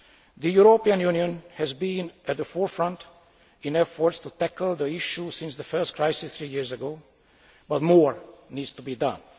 The European Union has been at the forefront in efforts to tackle the issue since the first crisis three years ago, but more needs to be